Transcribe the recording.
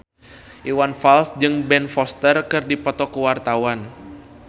Iwan Fals jeung Ben Foster keur dipoto ku wartawan